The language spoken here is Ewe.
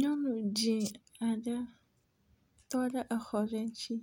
Nyɔnu dzi aɖe tɔ ɖe exɔ ɖe ŋtsi.